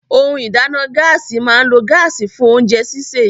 Ohun ìdáná Gáàsì máa ń lo gáàsì fún oúnjẹ sisè